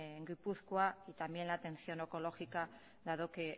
en gipuzkoa y también la atención oncológica dado que